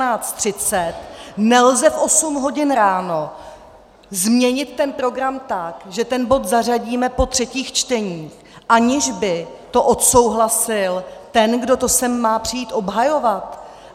Nelze v 8 hodin ráno změnit ten program tak, že ten bod zařadíme po třetích čteních, aniž by to odsouhlasil ten, kdo to sem má přijít obhajovat.